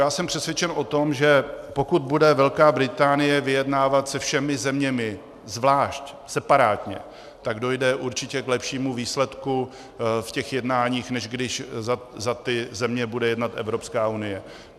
Já jsem přesvědčen o tom, že pokud bude Velká Británie vyjednávat se všemi zeměmi zvlášť, separátně, tak dojde určitě k lepšímu výsledku v těch jednáních, než když za ty země bude jednat Evropská unie.